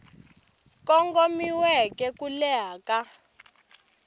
kongomiweke na ku leha ka